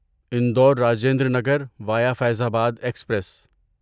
Indore Rajendra Nagar via Faizabad express